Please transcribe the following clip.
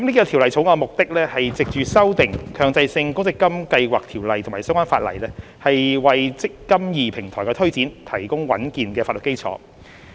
《條例草案》的目的，是藉修訂《強制性公積金計劃條例》及相關法例，為"積金易"平台的推展提供穩健的法律基礎。